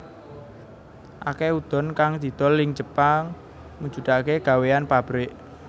Akeh udon kang didol ing Jepang mujudake gawéyan pabrik